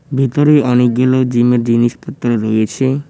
ভিতরে অনেকগুলো জিমের জিনিসপত্র রয়েছে।